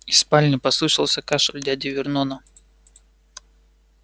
из спальни послышался кашель дяди вернона